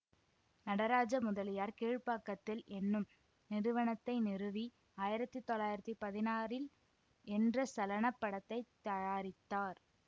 நடராஜ முதலியார் கீழ்பாக்கத்தில் என்னும் நிறுவனத்தை நிறுவி ஆயிரத்தி தொள்ளாயிரத்தி பதினாறில் என்ற சலனப் படத்தை தயாரித்தார்